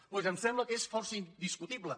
doncs em sembla que és força indiscutible